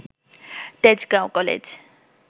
Tejgaon college